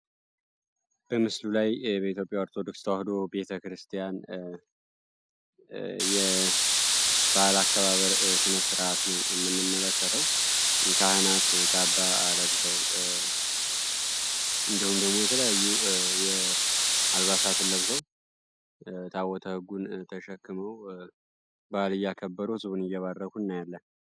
ኢትዮጵያ ኦርቶዶክስ ተዋህዶ ቤተክርስቲያን የ ዓለም አከባበር ስነ ስርዓት ነው የምንመለከተ አልባሳት ለብሰው ታቦተ ጉ ዳይ ያከበሩ እየባረኩ እናያለን።